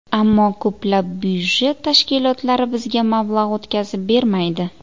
Ammo ko‘plab byudjet tashkilotlari bizga mablag‘ o‘tkazib bermaydi.